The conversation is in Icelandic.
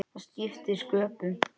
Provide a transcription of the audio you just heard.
Það skiptir sköpum.